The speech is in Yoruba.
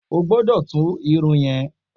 O gbọ́dọ̀ tú Irun yẹn.